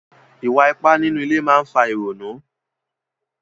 Ìwà ipá nínú ilé máa ń fa ìrònú.